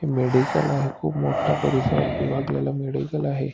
हि मेडिसिन आहे खूप मोठ्या परिसरात लागलेलं मेडिकल दिसत आहे.